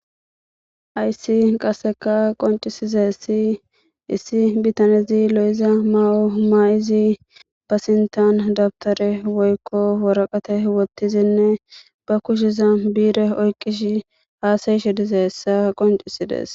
ayssi qasseka qoncisizessi issi bitanezi lo7iza ma7o maay7izi ba sintan dabtare woykko woraqate wottizinne ba kusheza biire oyqish haasayishe dize hessa qoncisides